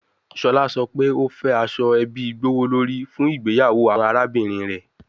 Shola sọ pe o fẹ aso ebi gbowolori fun igbeyawo awọn arabinrin rẹ